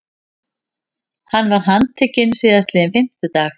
Hann var handtekinn síðastliðinn fimmtudag